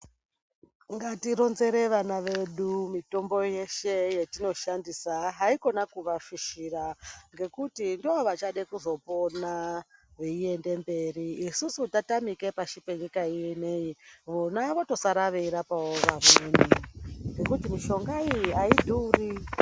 Ngatironzere vana vedu mitombo yeshe yatinoshandisa haikona kuvafishira ngekuti ndovachada kuzopona veiende mberi isusu tatamika pasi penyika ino vona vasara veirapawo vamweni ngekuti mishonga iyi haidhuri.